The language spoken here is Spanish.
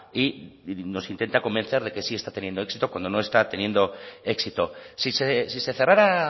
y nos intenta convencer de que sí está teniendo éxito cuando no está teniendo éxito si se cerrara